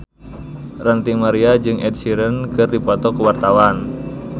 Ranty Maria jeung Ed Sheeran keur dipoto ku wartawan